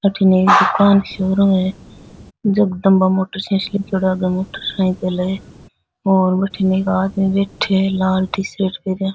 अठिने एक दुकान सी ओरु है जगदम्बा मोटर्स लिखयोड़ा आगे मोटरसाइकिल है और वठिने एक आदमी बैठया है लाल टी-शर्ट पहरिया।